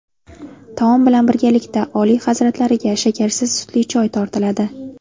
Taom bilan birgalikda Oliy hazratlariga shakarsiz sutli choy tortiladi.